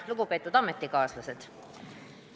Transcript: Lugupeetud ametikaaslased!